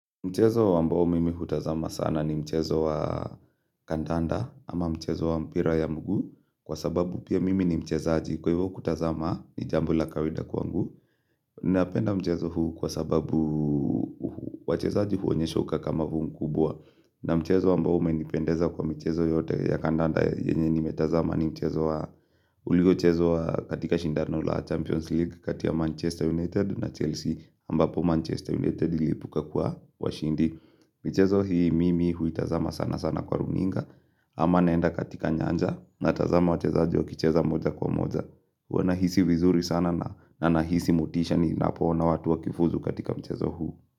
Mchezo wa mbao mimi hutazama sana ni mchezo wa kandanda ama mchezo wa mpira ya mgu Kwa sababu pia mimi ni mchezaji kwa hivo kutazama ni jambo la kawida kwangu Napenda mchezo huu kwa sababu wacheza aji huonyesha uka kamavuu mkubwa na mchezo wa mbao umenipendeza kwa mchezo yote ya kandanda yenye ni metazama ni mchezo wa Uliyo chezo wa katika shindano la Champions League katia Manchester United na Chelsea ambapo Manchester United lipuka kwa washindi Mchezo hii mimi hui tazama sana sana kwa runinga Ama naenda katika nyanja na tazama wachezaji kicheza moja kwa moja wanahisi vizuri sana na nahisi motisha ni napona watu wakifuzu katika mchezo huu.